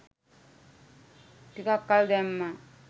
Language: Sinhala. ටිකක් කල් දැම්මා.